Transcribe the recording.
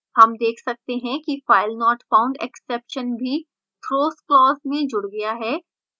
हम देख सकते हैं कि filenotfoundexception भी throws clause में जुड़ गया है